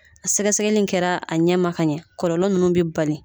A sɛgɛ sɛgɛli kɛra a ɲɛ ma ka ɲɛ kɔlɔlɔ ninnu bɛ bali.